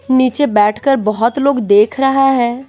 नीचे बैठकर बहुत लोग देख रहा है।